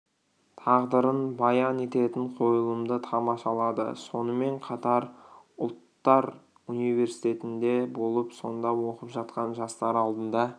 тағдырын баян ететін қойылымды тамашалады сонымен қатар ұлттар университетінде болып сонда оқып жатқан жастар алдында